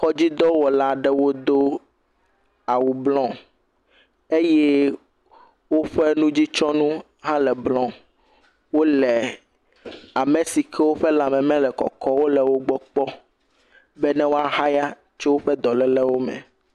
Kɔdzidɔwɔlawo do awu blɔɔ eye woƒe nudzitsyɔnu hã le brɔ̃. Wole ame si ke woƒe lãme mele kɔkɔ o le wogbɔ kpɔ be ne woaxaya tso woƒe dɔlélewo me.